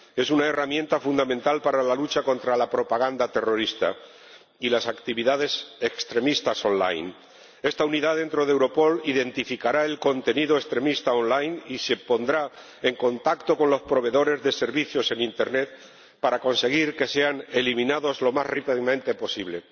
Es una herramienta fundamental para la lucha contra la propaganda terrorista y las actividades extremistas online Esta unidad dentro de Europol identificará el contenido extremista online y se pondrá en contacto con los proveedores de servicios en internet para conseguir que sean eliminados lo más rápidamente posible